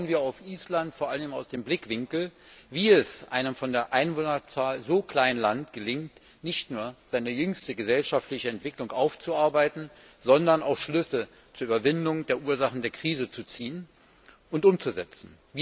Dabei schauen wir auf Island vor allem aus dem Blickwinkel, wie es einem von der Einwohnerzahl so kleinen Land gelingt, nicht nur seine jüngste gesellschaftliche Entwicklung aufzuarbeiten, sondern auch Schlüsse zur Überwindung der Ursachen der Krise zu ziehen und umzusetzen.